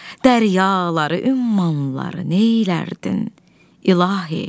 dəryaları, ümmanları neylərdin, ilahi?